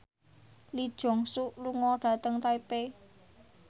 Lee Jeong Suk lunga dhateng Taipei